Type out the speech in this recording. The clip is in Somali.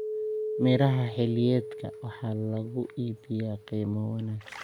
Miraha xilliyeedka waxaa lagu iibiyaa qiimo wanaagsan.